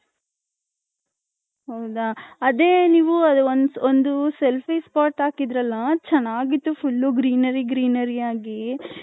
ಹೌದ ಅದೇ ನೀವು ಒಂದ್ selfie spot ಅಕಿದ್ರಲ್ಲ ಅದು ಚೆನ್ನಗಿತು full greenery greenery ಯಾಗಿ .